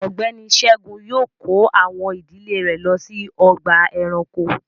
Ọgbẹni Ṣẹ̀gún yóò kọ̀ awọn ìdílẹ̀ rè ló sí ọ̀gbà ẹ̀ránkò